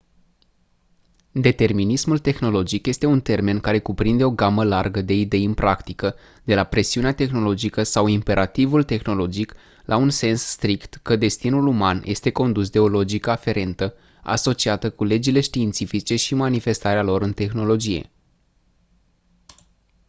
determinismul tehnologic este un termen care cuprinde o gamă largă de idei în practică de la presiunea tehnologică sau imperativul tehnologic la un sens strict că destinul uman este condus de o logică aferentă asociată cu legile științifice și manifestarea lor în tehnologie